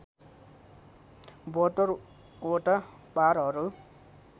७२ वटा पारहरू